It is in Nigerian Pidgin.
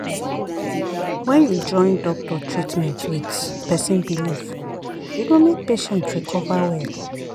when you join doctor treatment with person belief e go make patient recover well.